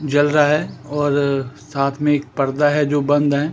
जल रहा है और साथ में एक पर्दा है जो बंद है।